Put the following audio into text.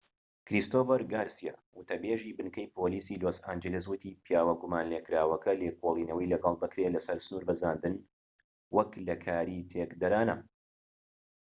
کریستۆفەر گارسیا وتە بێزی بنکەی پۆلیسی لۆس ئانجلس وتی پیاوە گومان لێکراوەکە لێکۆڵینەوەی لەگەڵ دەکرێت لەسەر سنور بەزاندن وەك لە کاری تێکدەرانە